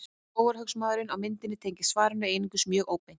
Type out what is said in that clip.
Skógarhöggsmaðurinn á myndinni tengist svarinu einungis mjög óbeint.